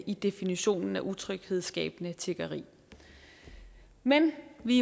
i definitionen utryghedsskabende tiggeri men vi